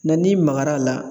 Na n'i magar'a la